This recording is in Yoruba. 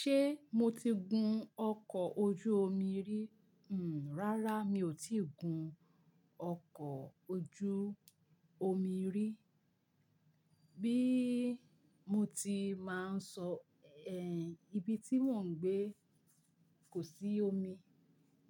Ṣé mo ti gun ọkọ̀ ojú omi rí? Hmm, rárá mi ò tí ì gun ọkọ̀ ojú omi rí. Bí mo tí máa ń sọ, eh, ibi tí mò ń gbé kò sí omi